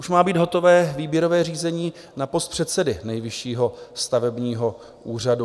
Už má být hotové výběrové řízení na post předsedy Nejvyššího stavebního úřadu.